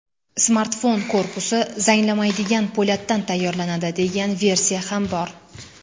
Smartfon korpusi zanglamaydigan po‘latdan tayyorlanadi, degan versiya ham bor.